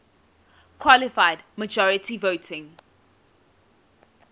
qualified majority voting